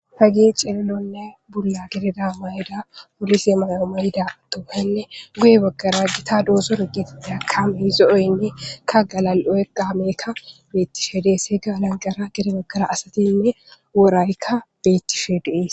Ha ge ceellonne bulla gededa may'da polise mayoma hida tooheynne guye baggara gita dooso r giti dea kame zo'oynne ka galal'oe qaamekka beettishe dees he gaa lanqara gede baggara asatinne woraykka beettishe dees.